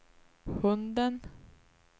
hunden